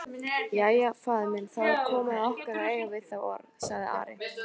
Jæja, faðir minn, þá er komið að okkur að eiga við þá orð, sagði Ari.